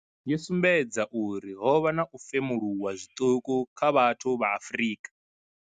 yo sumbedza uri ho vha na u femuluwa zwiṱuku kha vhathu vha Afrika.